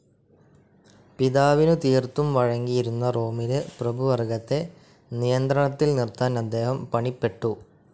പിതാവിനു തീർത്തും വഴങ്ങിയിരുന്ന റോമിലെ പ്രഭുവർഗ്ഗത്തെ നിയന്ത്രണത്തിൽ നിർത്താൻ അദ്ദേഹം പണിപ്പെട്ടു.